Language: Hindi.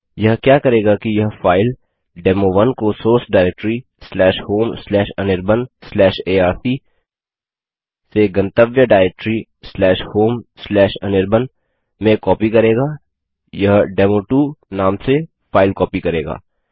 यह क्या करेगा कि यह फाइल डेमो1 को सोर्स डाइरेक्टरी homeanirbanarc से गंतव्य डाइरेक्टरी homeanirban में कॉपी करेगा यह डेमो2 नाम से फाइल कॉपी करेगा